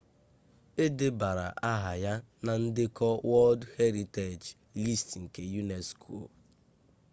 e debara aha ha na ndekọ wọld heritej list nke unesco